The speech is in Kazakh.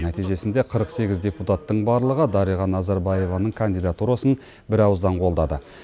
нәтижесінде қырық сегіз депутаттың барлығы дариға назарбаеваның кандидатурасын бірауыздан қолдады